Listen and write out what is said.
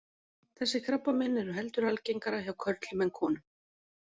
Þessi krabbamein eru heldur algengara hjá körlum en konum.